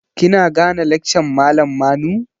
Kina gane lakcan malam Manu?